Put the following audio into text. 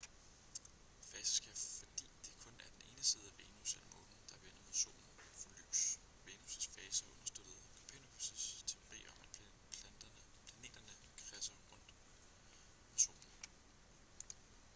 faser sker fordi det kun er den ene side af venus eller månen der vender mod solen får lys. venus' faser understøttede copernicus' teori om at planeterne kredser rundt om solen